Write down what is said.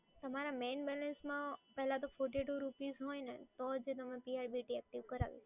તમારા મેઈન બેલેન્સમાં પહેલા તો fourty two rupees હોય ને તો જ તમે CRBT એક્ટિવ કરાવી